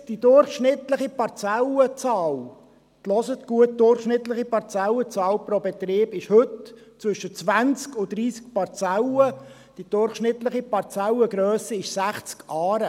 Die durchschnittliche Parzellenzahl pro Betrieb – jetzt hören Sie gut zu – liegt heute zwischen 20 und 30 Parzellen, die durchschnittliche Parzellengrösse beträgt 60 Aren.